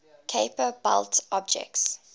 kuiper belt objects